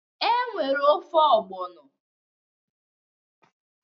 E nwere ofe ọgbọnọ